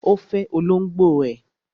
Ó fẹ olóngbò ẹ̀.